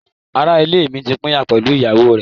Ará-ilé mi ti pínyà pẹ̀lú ìyàwó rẹ̀.